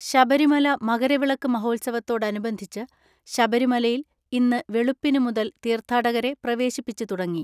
ശബരിമല മകരവിളക്ക് മഹോത്സവത്തോടനുബന്ധിച്ച് ശബരിമലയിൽ ഇന്ന് വെളുപ്പിന് മുതൽ തീർത്ഥാടകരെ പ്രവേശിപ്പിച്ച് തുടങ്ങി.